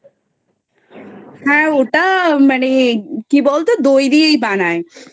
হ্যাঁ ওটা মানে কি বল তো দই দিয়েই বানায়,